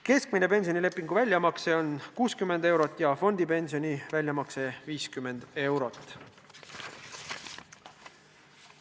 Keskmine pensionilepingu väljamakse on 60 eurot ja fondipensioni väljamakse 50 eurot.